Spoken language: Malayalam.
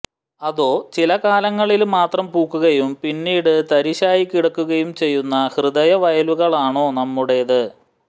അതോ ചില കാലങ്ങളില് മാത്രം പൂക്കുകയും പിന്നീട് തരിശായി കിടക്കുകയും ചെയ്യുന്ന ഹൃദയവയലുകളാണോ നമ്മുടേത്